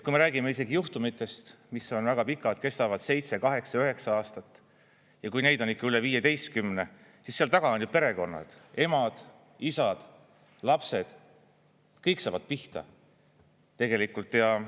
Kui me räägime isegi juhtumitest, mis on väga pikad, kestavad seitse, kaheksa, üheksa aastat, ja kui neid on üle viieteistkümne, siis seal taga on perekonnad – emad, isad, lapsed –, kõik saavad pihta tegelikult.